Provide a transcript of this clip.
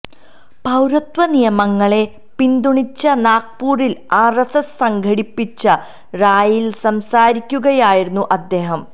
പൌരത്വ നിയമങ്ങളെ പിന്തുണച്ച് നാഗ്പൂരിൽ ആർഎസ്എസ് സംഘടിപ്പിച്ച റാലിയിൽ സംസാരിക്കുകയായിരുന്നു അദ്ദേഹം